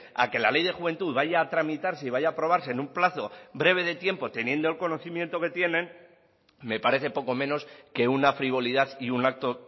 a que la ley de juventud vaya a tramitarse y vaya a aprobarse en un plazo breve de tiempo teniendo el conocimiento que tienen me parece poco menos que una frivolidad y un acto